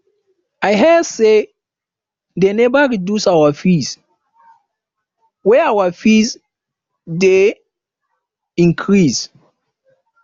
i hear say dey never reduce our fees wey our fees wey dey increase